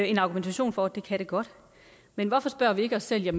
en argumentation for at det kan det godt men hvorfor spørger vi ikke os selv